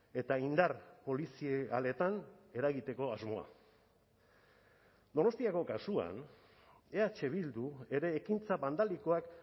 eta indar polizialetan eragiteko asmoa donostiako kasuan eh bildu ere ekintza bandalikoak